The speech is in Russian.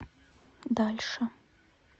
дальше